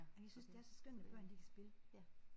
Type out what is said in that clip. Jamen jeg synes det er så skønt når børn de kan spille ja